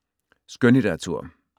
Skønlitteratur